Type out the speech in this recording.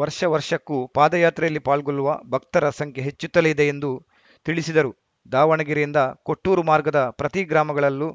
ವರ್ಷ ವರ್ಷಕ್ಕೂ ಪಾದಯಾತ್ರೆಯಲ್ಲಿ ಪಾಲ್ಗೊಳ್ಳುವ ಭಕ್ತರ ಸಂಖ್ಯೆ ಹೆಚ್ಚುತ್ತಲೇ ಇದೆ ಎಂದು ತಿಳಿಸಿದರು ದಾವಣಗೆರೆಯಿಂದ ಕೊಟ್ಟೂರು ಮಾರ್ಗದ ಪ್ರತಿ ಗ್ರಾಮಗಳಲ್ಲೂ